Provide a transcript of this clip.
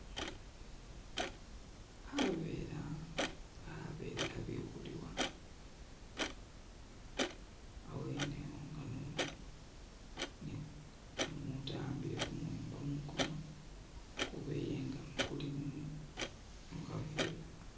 Khaveera khabele khabikhulibwa awene awo nga ni umuntu awambile kumuwembo monguno ukubeye nga kuli mukhaveera.